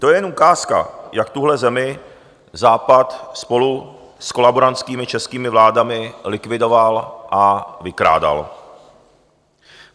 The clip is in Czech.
To je jen ukázka, jak tuhle zemi Západ spolu s kolaborantskými českými vládami likvidoval a vykrádal.